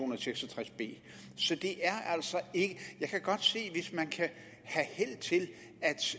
og seks og tres b jeg kan godt se at hvis man kan have held til